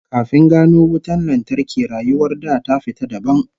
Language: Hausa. Kafin gano wutar lantarki, rayuwar da ta fita dabam